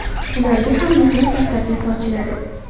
Ularga ham mehnat daftarchasi ochiladi.